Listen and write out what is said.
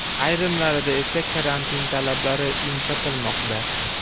Ayrimlarida esa karantin talablari yumshatilmoqda.